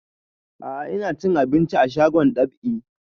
A'a ina cin abinci a shagon dab'i